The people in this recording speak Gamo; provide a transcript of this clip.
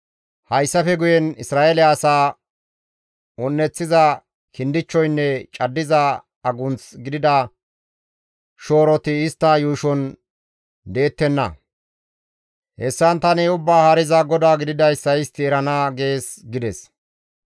« ‹Hayssafe guye Isra7eele asaa un7eththiza kindichchoynne caddiza agunth gidida shooroti istta yuushon deettenna; hessan tani Ubbaa Haariza GODAA gididayssa istti erana› gees» gides.